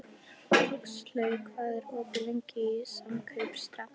Huxley, hvað er opið lengi í Samkaup Strax?